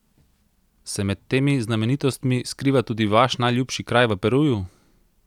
Se med temi znamenitostmi skriva tudi vaš najljubši kraj v Peruju?